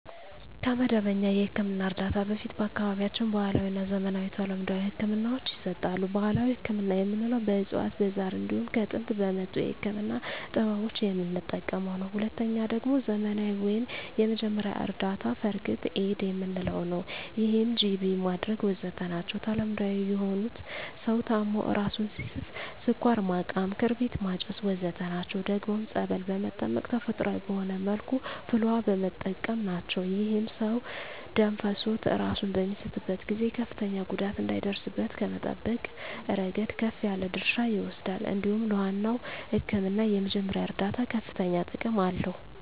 ከመደበኛ የሕክምና እርዳታ በፊት በአካባቢያችን ባህለዊ፣ ዘመናዊና ተለምዷዊ ህክምናወች ይሰጣሉ። ባህላዊ ህክምና የምንለዉ በእፅዋት በዛር እንዲሁም ከጥንት በመጡ የህክምና ጥበቦች የምንጠቀመዉ ነዉ። ሁለተኛዉ ደግሞ ዘመናዊ ወይም የመጀመሪያ እርዳታ(ፈርክት ኤድ) የምንለዉ ነዉ ይህም ጅቢ ማድረግ ወዘተ ናቸዉ። ተለምዳዊ የሆኑት ሰዉ ታሞ እራሱን ሲስት ስኳር ማቃም ክርቢት ማጨስ ወዘተ ናቸዉ። ደግሞም ፀበል በመጠመቅ ተፈጥሮአዊ በሆነ መልኩ ፍል ዉሃ በመጠቀም ናቸዉ። ይህም ሰዉ ደም ፈሶት እራሱን በሚስትበት ጊዜ ከፍተኛ ጉዳት እንዳይደርስበት ከመጠበቅ እረገድ ከፍ ያለ ድርሻ ይወስዳል እንዲሁም ለዋናዉ ህክምና የመጀመሪያ እርዳታ ከፍተኛ ጥቅም አለዉ።